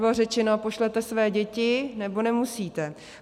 Bylo řečeno: pošlete své děti, nebo nemusíte.